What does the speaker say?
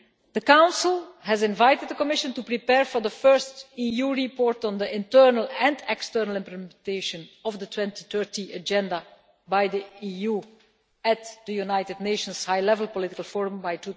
The Council has invited the Commission to prepare for the first EU report on the internal and external implementation of the 2030 Agenda by the EU at the United Nations High Level Political Forum by